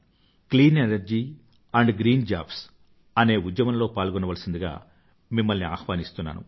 clean energy and green jobs అనే ఉద్యమంలో పాల్గొనవలసిందిగా మిమ్మల్ని ఆహ్వానిస్తున్నాను